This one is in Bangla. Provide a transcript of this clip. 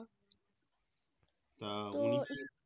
তা উনি কি